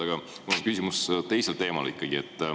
Aga mul on küsimus teisel teemal.